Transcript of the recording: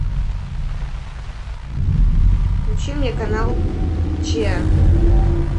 включи мне канал че